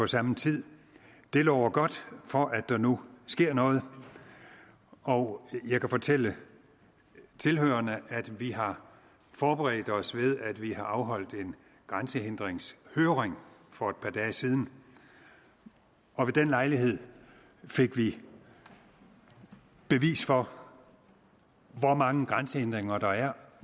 samme tid det lover godt for at der nu sker noget og jeg kan fortælle tilhørerne at vi har forberedt os ved at vi har afholdt en grænsehindringshøring for et par dage siden og ved den lejlighed fik vi bevis for hvor mange grænsehindringer der er